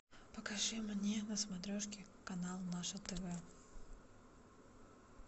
покажи мне на смотрешке канал наше тв